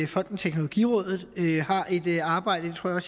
fonden teknologirådet har et arbejde det tror jeg